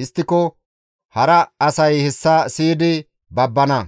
Histtiko hara asay hessa siyidi babbana;